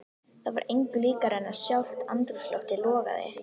Það var engu líkara en að sjálft andrúmsloftið logaði.